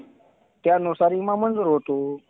त्यानुसार विमा मंजूर होतो.